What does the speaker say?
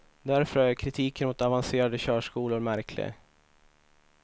Därför är kritiken mot avancerade körskolor märklig.